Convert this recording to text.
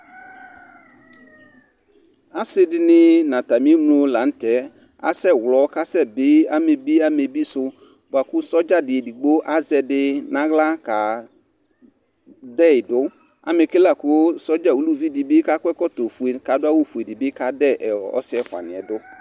Ase de ne na atame enlo lantɛ asɛ wlɔ ka asɛ bi amɛbi amɛbi so boako sɔdza de egigbo azɛ ɛde nahla ka dɛi do Amɛke lako sɔdza uluvi de be kakɔ ɛkɔtɔfue ka do awufue de be ka dɛ ɛ ɔ ɔse ɛfua niɛ do